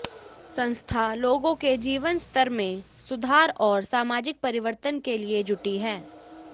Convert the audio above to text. संस्था लोगों के जीवन स्तर में सुधार और सामाजिक परिवर्तन के लिए जुटी है